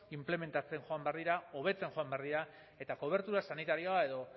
inplementatzen joan behar dira hobetzen joan behar dira eta kobertura sanitarioa edo